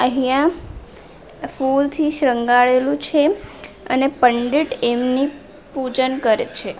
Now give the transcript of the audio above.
અહીંયા ફુલથી શણગારેલું છે અને પંડિટ એમની પૂજન કરે છે.